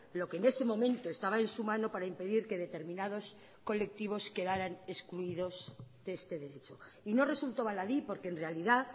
lo que en ese momento estaba en su mano para impedir que determinados colectivos quedarán excluidos de este derecho y no resultó baladí porque en realidad